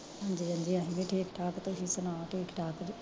ਹਾਂਜੀ ਹਾਂਜੀ ਠੀਕ ਠਾਕ ਤੁਸੀ ਸੁਣਾਓ ਠੀਕ ਠਾਕ ਜੇ